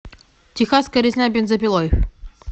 техасская резня бензопилой